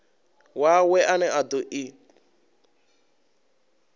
wawe ane a do i